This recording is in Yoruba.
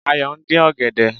Ayò ndín ọ̀gẹ̀dẹ̀